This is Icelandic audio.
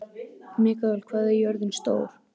Mikael, hvað er jörðin stór?